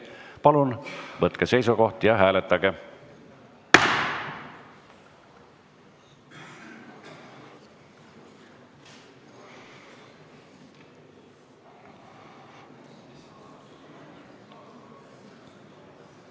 Palun võtke seisukoht ja hääletage!